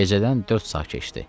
Gecədən dörd saat keçdi.